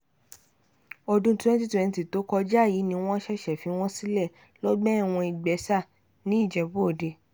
ọdún 2020 tó kọjá yìí ni wọ́n ṣẹ̀ṣẹ̀ fi wọ́n sílẹ̀ lọ́gbà ẹ̀wọ̀n ìgbẹ́sà nìjẹ́bú-òde